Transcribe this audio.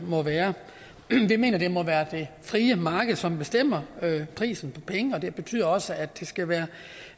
må være vi mener det må være det frie marked som bestemmer prisen på penge og det betyder også at det skal være